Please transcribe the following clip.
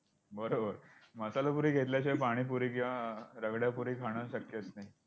बरोबर, मसाला पुरी घेतल्याशिवाय पाणीपुरी किंवा रगडापुरी खाणं शक्यच नाही.